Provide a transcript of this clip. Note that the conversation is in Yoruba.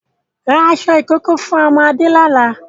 rà aṣọ ìkókó fún ọmọ Adé ni ọ̀la!